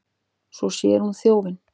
Svo sér hún þjófinn.